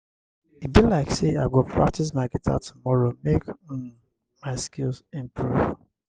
e be like sey i go practice my guitar tomorrow make um my skills improve.